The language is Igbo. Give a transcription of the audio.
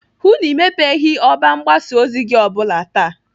Hụụ na Ị mepeghị ọba mgbasa ozi gị o bụla taa!